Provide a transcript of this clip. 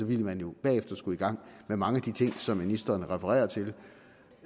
ville man jo bagefter skulle i gang med mange af de ting som ministeren refererer til